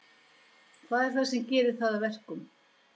Hvað er það sem gerir það að verkum?